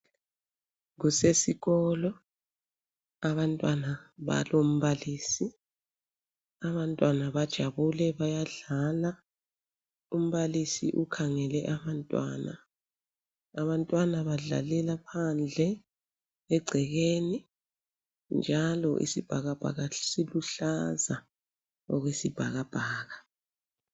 Kusesikolo abantwana balombalisi, abantwana bajabulile bayadlala, umbalisi ukhangele abantwana . Abantwana badlalela phandle egcekeni njalo isibhakabhaka siluhlaza okwesibhakabhaka.